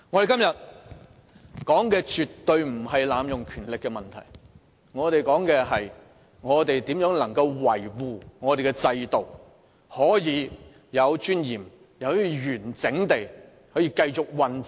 今天討論的絕對不是濫用權力的問題，而是如何維護立法會的制度，使本會可以有尊嚴、完整地繼續運作。